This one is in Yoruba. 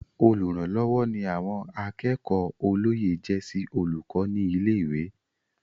Olùrànlọ́wọ́ ni àwọn akẹ́kọ̀ọ́ olóyè jẹ́ sí olùkọ́ ní ilé-ìwé.